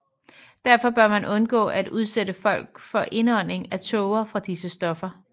Derfor bør man undgå at udsætte folk for indånding af tåge fra disse stoffer